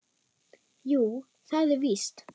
Jú, það er víst.